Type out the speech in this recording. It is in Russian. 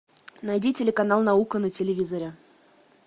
найди телеканал наука на телевизоре